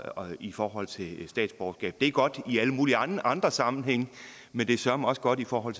i forhold til statsborgerskab det er godt i alle mulige andre andre sammenhænge men det søreme også godt i forhold